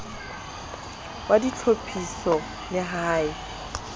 wa ditlhophiso le ha e